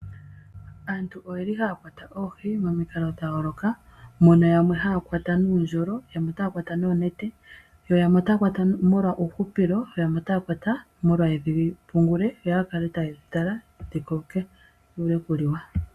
Aantu ohaya kwata oohi momikalo dha yooloka. Opu na yamwe haya longitha uundjolo yo yamwe ohaya kwata noonete. Yamwe ohaye dhi kwata molwa uuhupilo yo yamwe otaya kala haye dhi tala dhi koke dho dhi wape okuliwa.